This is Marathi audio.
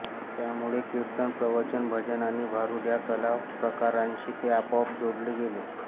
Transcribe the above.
त्यामुळे कीर्तन प्रवचन भजन आणि भारूड या कला प्रकारांशी ते आपोआप जोडले गेले